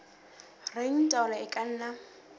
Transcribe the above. reng taolo e ka nna